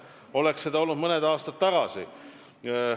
Oleks te seda teinud mõned aastad tagasi!